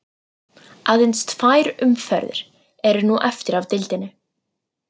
Aðeins tvær umferðir eru nú eftir af deildinni.